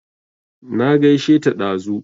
Na gaishe ta dazu